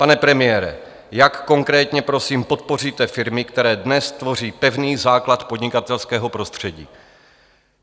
Pane premiére, jak konkrétně, prosím, podpoříte firmy, které dnes tvoří pevný základ podnikatelského prostředí?